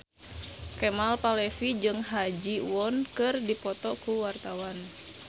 Kemal Palevi jeung Ha Ji Won keur dipoto ku wartawan